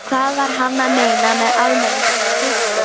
Hvað var hann að meina með almennum þroska?